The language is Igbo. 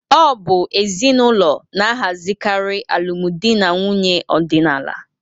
Ọ bụ ezinụlọ na-ahazikarị alụmdi na nwunye ọdịnala.